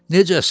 Necəsən?